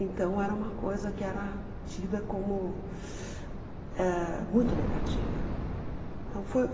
Então era uma coisa que era tida como ãh muito negativa. Então foi